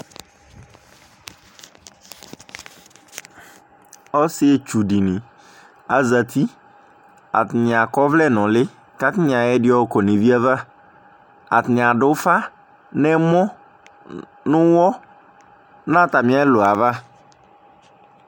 Ɔsɩetsu dɩnɩ azati, atanɩ akɔ ɔvlɛ nʋ ʋlɩ, kʋ atanɩ ayɔ ɛdɩ yɔkɔ nʋ evi ava, atanɩ adʋ ʋfa nʋ ɛmɔ, nʋ ʋɣɔ, nʋ atamɩ ɛlʋ yɛ ava